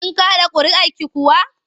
Kin kaɗa ƙuri'arki kuwa?